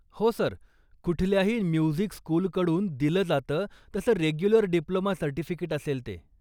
हो सर, कुठल्याही म्युझिक स्कूलकडून दिलं जातं तसं रेग्युलर डिप्लोमा सर्टिफिकेट असेल ते.